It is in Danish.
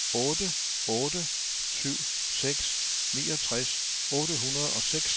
otte otte syv seks niogtres otte hundrede og seks